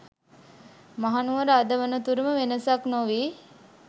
මහනුවර අද වනතුරුම වෙනසක් නොවී